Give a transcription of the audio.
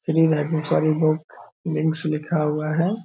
Shri Rajeshwari book wings लिखा हुआ है।